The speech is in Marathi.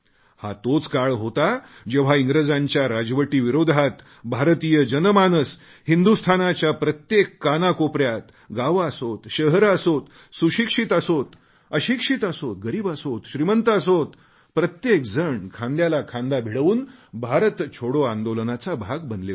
हा तोच काळ होता जेव्हा इंग्रजांच्या राजवटीविरोधात भारतीय जनमानस हिंदुस्थानाच्या प्रत्येक कानाकोपऱ्यात गावे असोत शहरे असोत सुशिक्षित असोत अशिक्षित असोत गरीब असोत श्रीमंत असोत प्रत्येक जण खांद्याला खांदा भिडवून भारत छोटो आंदोलनाचा भाग बनले होते